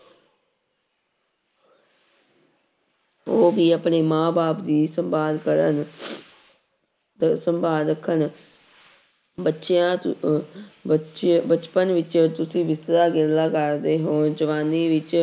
ਉਹ ਵੀ ਆਪਣੇ ਮਾਂ ਬਾਪ ਦੀ ਸੰਭਾਲ ਕਰਨ ਸੰਭਾਲ ਰੱਖਣ ਬੱਚਿਆਂ ਬਚ ਬਚਪਨ ਵਿੱਚ ਤੁਸੀਂ ਗੁੱਸਾ ਗਿੱਲਾ ਕਰਦੇੇ ਹੋ ਜਵਾਨੀ ਵਿੱਚ